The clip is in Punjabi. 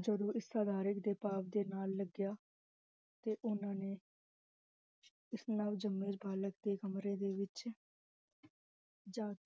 ਜਦੋ ਇਸ ਸਾਦਾਰਨ ਦੇ ਪਾਵ ਨਾਲ ਲਗਿਆ ਫੇਰ ਉਹਨਾਂ ਨੇ ਇਸ ਨਾਲ ਜਮੇ ਬਾਲਕ ਦੇ ਕਮਰੇ ਦੇ ਵਿਚ